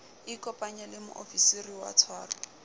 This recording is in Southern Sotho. ikopanye le moofisiri wa tshwaro